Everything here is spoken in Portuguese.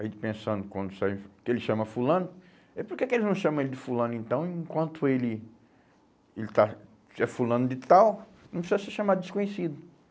A gente pensando quando sair, que ele chama fulano, e porque que eles não chamam ele de fulano então, enquanto ele, ele está, é fulano de tal, não precisa se chamar desconhecido,